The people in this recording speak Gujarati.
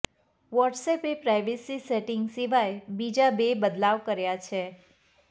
વોટ્સએપે પ્રાઇવસી સેટિંગ સિવાય બીજા બે બદલાવ કર્યા છે